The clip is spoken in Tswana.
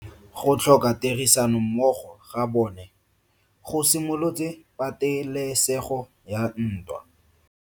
Go tlhoka tirsanommogo ga bone go simolotse patelesego ya ntwa.